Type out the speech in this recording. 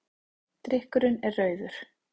Drykkurinn er rauður.